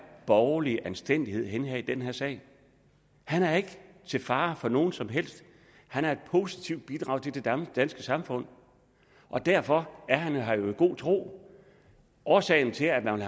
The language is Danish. borgerlige anstændighed er henne i den her sag han er ikke til fare for nogen som helst han er et positivt bidrag til det danske samfund og derfor er han her jo i god tro årsagen til at man vil